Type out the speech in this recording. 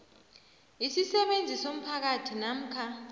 isisebenzi somphakathi namkha